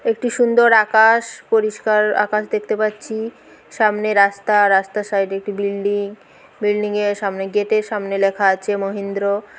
একটি সুন্দর আকাশ পরিষ্কার আকাশ দেখতে পাচ্ছি সামনে রাস্তা রাস্তার সাইড এ একটি বিল্ডিং বিল্ডিং এর সামনে গেট এর সামনে লেখা আছে মহেন্দ্র।